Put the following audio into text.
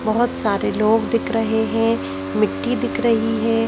बहुत सारे लोग दिख रहे हैं मिट्टी दिख रही है।